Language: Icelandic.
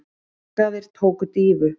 Markaðir tóku dýfu